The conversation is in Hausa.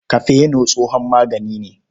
Kafeno tsohon magani ne.